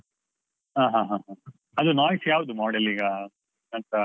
ಹ ಹ ಹ ಹ ಅದು Noise ಯಾವ್ದು model ಈಗ? .